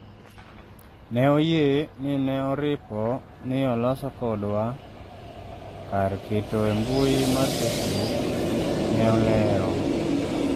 ne oyie ni ne oripo ni oloso kodwa kar keto e mbui mar facebook, ne olero